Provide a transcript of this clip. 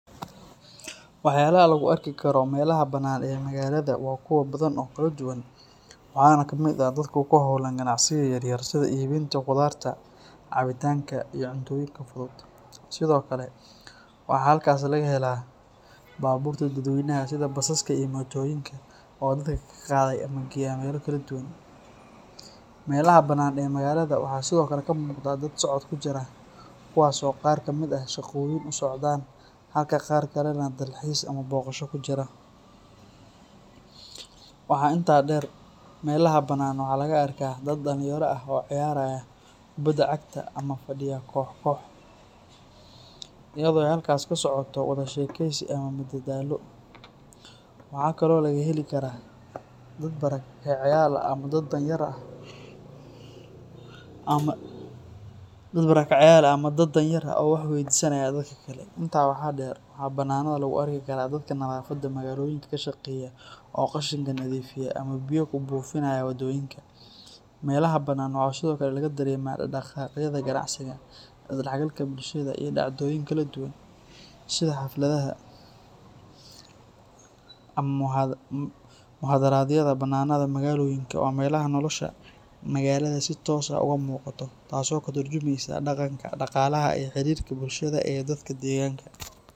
Waxyaalaha lagu arki karo meelaha bannaan ee magaalada waa kuwo badan oo kala duwan, waxaana ka mid ah dadka ku hawlan ganacsiyada yaryar sida iibinta khudaarta, cabitaanka iyo cuntooyinka fudud. Sidoo kale, waxaa halkaas laga helaa baabuurta dadweynaha sida basaska iyo mootooyinka oo dadka ka qaaday ama geeya meelo kala duwan. Meelaha bannaan ee magaalada waxaa sidoo kale ka muuqda dad socod ku jira, kuwaas oo qaar ka mid ah shaqooyin u socdaan halka qaar kalena dalxiis ama booqasho ku jira. Waxaa intaa dheer, meelaha bannaan waxaa laga arkaa dad dhalinyaro ah oo ciyaaraya kubbadda cagta ama fadhiya koox-koox, iyadoo ay halkaas ka socoto wada sheekeysi ama madadaalo. Waxaa kale oo laga heli karaa dad barakacayaal ah ama dadka danyar ah oo wax weydiisanaya dadka kale. Intaa waxaa dheer, waxaa bannaanada lagu arki karaa dadka nadaafadda magaalooyinka ka shaqeeya oo qashinka nadiifinaya ama biyo ku buufinaya wadooyinka. Meelaha bannaan waxaa sidoo kale laga dareemaa dhaqdhaqaaqyada ganacsiga, is dhexgalka bulshada iyo dhacdooyin kala duwan sida xafladaha ama mudaharaadyada. Bannaanada magaalooyinka waa meelaha nolosha magaalada si toos ah uga muuqato, taasoo ka tarjumeysa dhaqanka, dhaqaalaha iyo xiriirka bulshada ee dadka deegaanka.